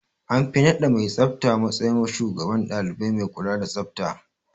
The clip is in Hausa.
An fi naɗa mai tsafta matsayin shugaban ɗalibai mai kula da tsafta.